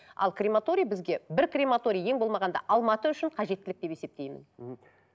ал крематория бізге бір крематория ең болмағанда алматы үшін қажеттілік деп есептеймін мхм